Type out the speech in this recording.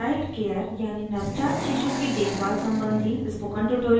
newborn child care यानि नवजात शिशु की देखभाल सम्बन्धी spoken tutorial में आपका स्वागत है